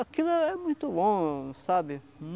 Aquilo é muito bom, sabe?